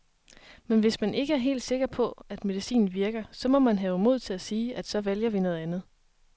Men hvis man ikke er helt sikker på, at medicinen virker, så må man have mod til at sige, at så vælger vi noget andet.